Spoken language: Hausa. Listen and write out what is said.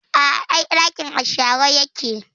A a, ai ɗakin a share yake.